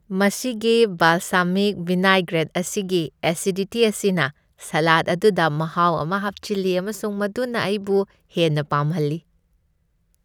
ꯃꯁꯤꯒꯤ balsamic vinaigrette ꯑꯁꯤꯒꯤ acidity ꯑꯁꯤꯅ ꯁꯂꯥꯗ ꯑꯗꯨꯗ ꯃꯍꯥꯎ ꯑꯃ ꯍꯥꯞꯆꯤꯜꯂꯤ ꯑꯃꯁꯨꯡ ꯃꯗꯨꯅ ꯑꯩꯕꯨ ꯍꯦꯟꯅ ꯄꯥꯝꯍꯜꯂꯤ ꯫